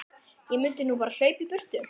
Ég mundi nú bara hlaupa í burtu.